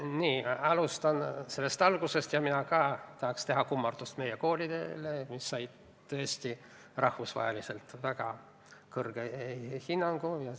Ma alustan algusest: ka mina ka tahan teha kummarduse meie koolidele, mis said tõesti rahvusvaheliselt väga kõrge hinnangu.